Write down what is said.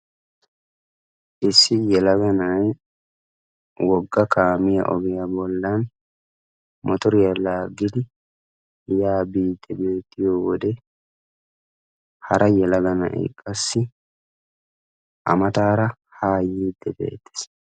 Issi yelaga na'ay wogga kaamiya ogiya bollan motoriya laaggidi yaa biiddi beettiyo wode hara yelaga na'ay qassi A mataara haa yiiddi beettees.